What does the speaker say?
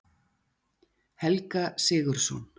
Helga Sigurðsson.